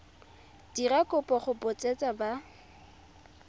dira kopo go botseta ba